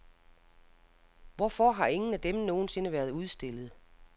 Hvorfor har ingen af dem nogen sinde været udstillet?